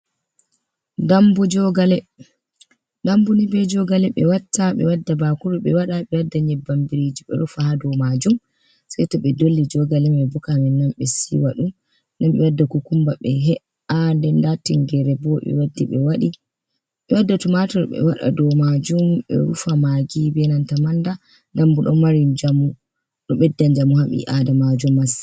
Dambu jogale"dambu jogale nibe jogale ɓe watta be wadda bakuru ɓe waɗa ɓe wadda nyebbam biriji ɓe rufa ha do majum sei to ɓe dolli jogale me bo ka min nan ɓe siwa ɗum den ɓe wadda kukumba be he’a nda tingere bo ɓe wadda tumatur be wada do majum be rufa magi benanta manda dambu don mari njamu bedda njamu ha bi adamajo masin.